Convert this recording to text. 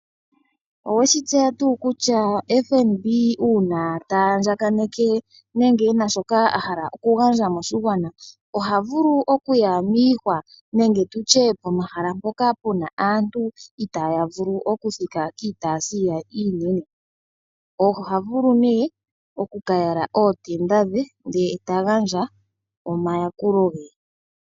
Oweshi tseya nga kutya FNB uuna ta andjakaneke nenge ena shoka ahala oku gandja moshigwana. Oha vulu okuya miihwa nenge tutye pomahala mpoka puna aantu, uta ya vulu oku thika kiitayi yawo iinene, oha vulu ne oku ka yala ootenda dhe, ye ta gandja omayakulo ge.